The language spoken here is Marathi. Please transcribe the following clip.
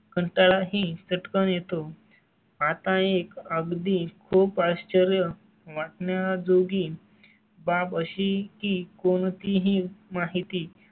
कंटाळा ही चट्कन येतो. आता एक अगदी खूप आश्चर्य वाटण्याजोगी बाब अशी की कोणतीही माहिती